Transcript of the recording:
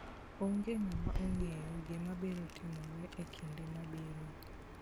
Onge ng'ama ong'eyo gima biro timore e kinde mabiro.